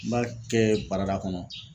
N m'a kɛ barada kɔnɔ.